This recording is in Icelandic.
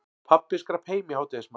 Pabbi skrapp heim í hádegismat.